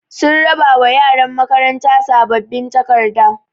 Sun raɓa wa ƴaran makaranta saɓɓaɓin taƙarɗa.